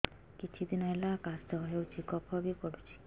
କିଛି ଦିନହେଲା କାଶ ହେଉଛି କଫ ବି ପଡୁଛି